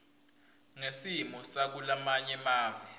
ngesimo sakulamanye mave